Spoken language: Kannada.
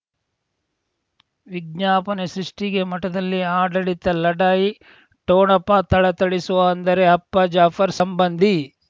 ವಿಜ್ಞಾಪನೆ ಸೃಷ್ಟಿಗೆ ಮಠದಲ್ಲಿ ಆಡಳಿತ ಲಢಾಯಿ ಠೋಣಪ ಥಳಥಳಿಸುವ ಅಂದರೆ ಅಪ್ಪ ಜಾಫರ್ ಸಂಬಂಧಿ